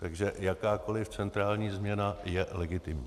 Takže jakákoli centrální změna je legitimní.